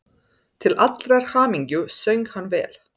Til allrar hamingju söng hann vel!